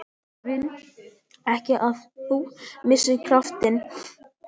Ég vil ekki að þú missir kraftinn.